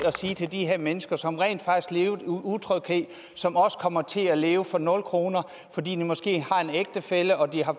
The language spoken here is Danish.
at sige til de her mennesker som rent faktisk levede utryghed og som også kommer til at leve for nul kr fordi de måske har en ægtefælle og